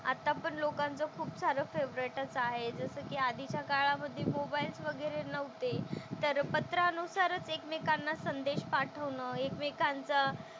आता पण लोकांचं खूपसारं फेव्हरेटच आहे. जसं की आधीच्या काळामधे मोबाईल्स वगैरे नव्हते तर पत्रानुसारच एकमेकांना संदेश पाठवणं, एकमेकांचं,